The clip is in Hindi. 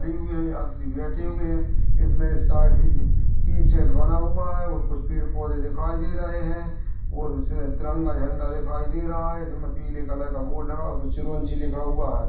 यात्री बैठे हुए है इसमे साइड मे तीन सेट बना हुआ है और कुछ पेड पौधे दिखाई दे रहे है और तिरंगा झंडा दिखाई दे रहा है इसमें पीले कलर का बोर्ड लगा हुआ है उसपर चिरवंजी लिखा हुआ है।